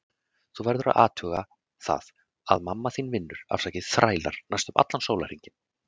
Þú verður að athuga það að mamma þín vinnur, afsakið þrælar, næstum allan sólarhringinn.